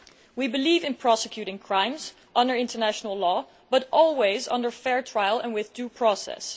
We believe in prosecuting crimes under international law, but always under fair trial and with due process.